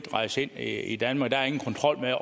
rejse ind i danmark